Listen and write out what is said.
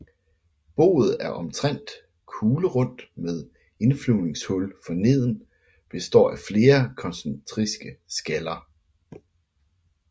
Boet er omtrent kuglerundt med indflyvningshul forneden og består af flere koncentriske skaller